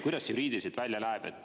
Kuidas see juriidiliselt välja näeb?